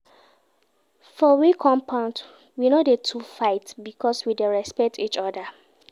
For we compound, we no dey too fight because we dey respect each oda.